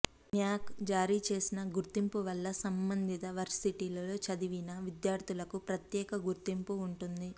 న్యాక్ జారీ చేసిన గుర్తింపు వల్ల సంబంధిత వర్శిటీల్లో చదివిన విద్యార్ధులకు ప్రత్యేక గుర్తింపు ఉంటుంది